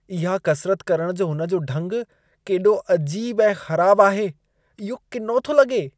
इहा कसिरत करण जो हुन जो ढंग केॾो अजीब ऐं ख़राब आहे। इहो किनो थो लॻे।